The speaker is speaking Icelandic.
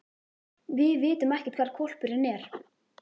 Við vitum ekkert hvar hvolpurinn er.